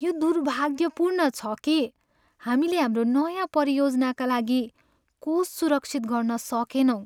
यो दुर्भाग्यपूर्ण छ कि हामीले हाम्रो नयाँ परियोजनाका लागि कोष सुरक्षित गर्न सकेनौँ।